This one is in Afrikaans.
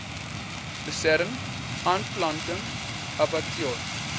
lusern aanplanting abbatior